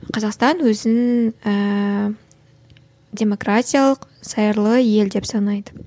қазақстан өзін ііі демократиялық зайырлы ел деп санайды